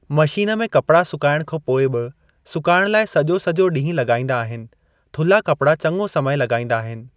Machine में कपड़ा सुकाइण खां पोइ बि सुकाइण लाइ सॼो सॼो ॾीहुं लॻाईंदा आहिनि थुला कपड़ा चङो समय लॻाइंदा आहिनि।